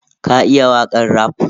Ka iya wakan raf?